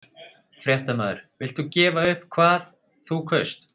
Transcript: Fréttamaður: Villt þú gefa upp hvað þú kaust?